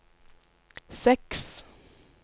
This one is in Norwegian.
seks